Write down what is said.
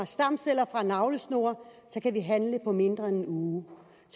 stamceller fra navlesnore kan vi handle på mindre end en uge